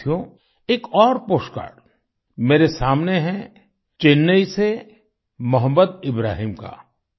साथियो एक और पोस्टकार्ड मेरे सामने है चेन्नई से मोहम्मद इब्राहिम का